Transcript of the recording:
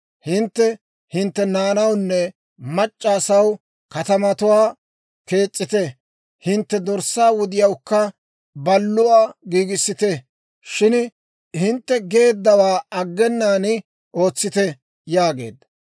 Hintte hintte naanawunne mac'c'a asaw katamatuwaa kees's'ite; hintte dorssaa wudiyawukka balluwaa giigissite; shin hintte geeddawaa aggenaan ootsite» yaageedda.